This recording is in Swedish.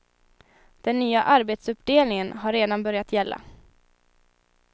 Den nya arbetsuppdelningen har redan börjat gälla.